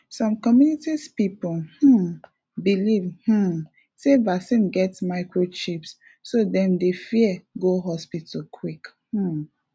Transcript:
some communities people um believe um sey vaccine get microchip so dem dey fear go hospital quick um